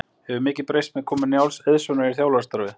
Hefur mikið breyst með komu Njáls Eiðssonar í þjálfarastarfið?